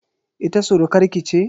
Ita surukar ki ce?